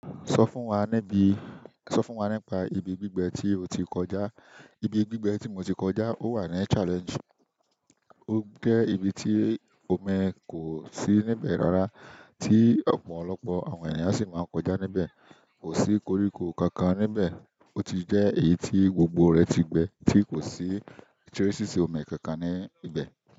Sọ fún wa níbi, sọ fún wa nípa ibi gbígbẹ tí o ti kọjá. Ibi gbígbẹ tí mo ti kọjá ó wà ní Challenge. Ó jẹ́ ibi tí omi kò sí níbẹ̀ rárá, tí ọ̀pọ̀lọpọ̀ àwọn ènìyàn sì máa ń kọjá níbẹ̀. Kò sí koríko kankan níbẹ̀. Ó ti jẹ́ èyí tí gbogbo rẹ̀ ti gbẹ, tí kò sí tì o si sí omi kankan ní ibẹ̀.